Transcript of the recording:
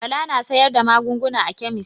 Bala na sayar da magunguna a kemis.